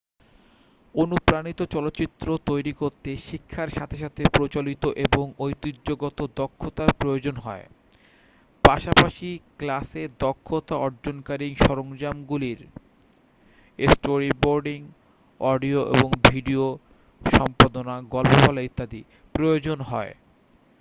অনুপ্রাণিত চলচ্চিত্র তৈরি করতে শিক্ষার সাথে সাথে প্রচলিত এবং ঐতিহ্যগত দক্ষতার প্রয়োজন হয় পাশাপাশি ক্লাসে দক্ষতা অর্জনকারী সরঞ্জামগুলির স্টোরিবোর্ডিং অডিও এবং ভিডিও সম্পাদনা গল্প বলা ইত্যাদি প্রয়োজন হয়